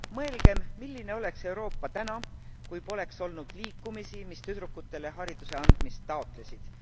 Mõelgem, milline oleks Euroopa täna, kui poleks olnud liikumisi, mis tüdrukutele hariduse andmist taotlesid